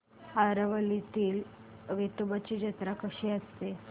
आरवलीतील वेतोबाची जत्रा कशी असते